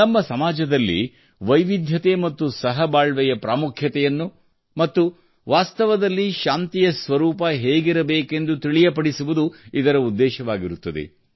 ನಮ್ಮ ಸಮಾಜದಲ್ಲಿ ವೈವಿಧ್ಯ ಮತ್ತು ಸಹ ಬಾಳ್ವೆಯ ಪ್ರಾಮುಖ್ಯವನ್ನು ಮತ್ತು ವಾಸ್ತವದಲ್ಲಿ ಶಾಂತಿಯ ಸ್ವರೂಪ ಹೇಗಿರಬೇಕೆಂದು ತಿಳಿಯಪಡಿಸುವುದು ಇದರ ಉದ್ದೇಶವಾಗಿರುತ್ತದೆ